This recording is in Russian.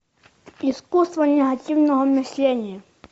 искусство негативного мышления